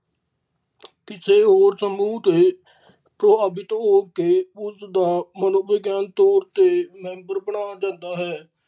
ਕਿਸੇ ਹੋਰ ਸਮੂਹ ਤੋਂ ਅਵੀ ਤੋ ok ਉਸ ਦਾ ਮਨੋਵਿਗਿਆਨ ਤੋਰ ਤੇ member ਬਣਾ ਦਿੰਦਾ ਹੈ।